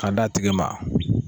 Ka d'a tigi ma.